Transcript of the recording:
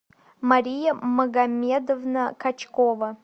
мария магомедовна качкова